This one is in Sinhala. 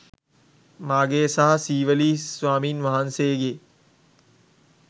මාගේ සහ සීවලී ස්වාමීන් වහන්සේගේ